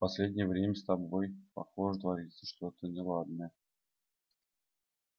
последнее время с тобой похоже творится что-то неладное